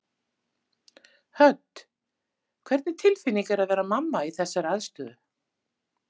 Hödd: Hvernig tilfinning er að vera mamma í þessari aðstöðu?